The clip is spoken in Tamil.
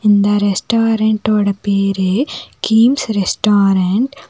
இந்த ரெஸ்டாரன்ட்டோட பேரு கீம்ஸ் ரெஸ்டாரன்ட் .